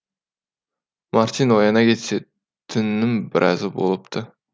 мартин ояна кетсе түннің біразы болыпты